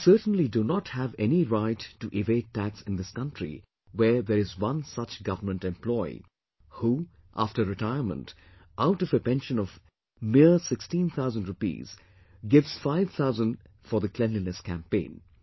We certainly do not have any right to evade tax in this country where there is one such government employee, who after retirement, out of a pension of mere sixteen thousand rupees, gives five thousand for the Cleanliness Campaign